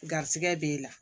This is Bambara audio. Garisigɛ b'e la